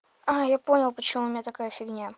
а я понял почему у меня такая фигня